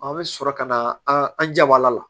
A bɛ sɔrɔ ka na an jabala la